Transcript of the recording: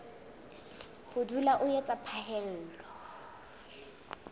ho dula o etsa phaello